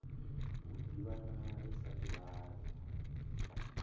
u ḓivhana ri sa ḓivhani